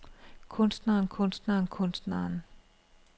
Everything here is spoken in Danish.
kunstneren kunstneren kunstneren